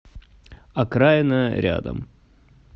окраина рядом